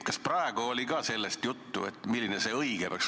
Kas nüüd oli juttu, milline see õige peaks olema?